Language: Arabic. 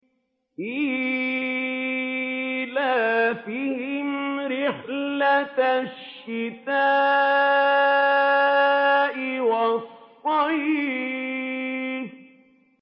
إِيلَافِهِمْ رِحْلَةَ الشِّتَاءِ وَالصَّيْفِ